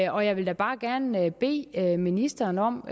og jeg vil da bare gerne bede ministeren om